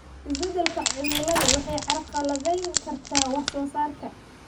Isbeddelka cimiladu waxay carqaladayn kartaa wax soo saarka.